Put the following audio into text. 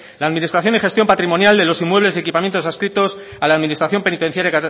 la administración y gestión patrimonial de los inmuebles y equipamientos adscritos a la administración penitenciara